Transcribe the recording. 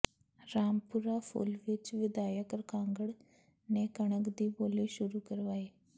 ਰਾਮਪੁਰਾ ਫੂਲ ਵਿਚ ਵਿਧਾਇਕ ਕਾਂਗੜ ਨੇ ਕਣਕ ਦੀ ਬੋਲੀ ਸੁਰੂ ਕਰਵਾਈ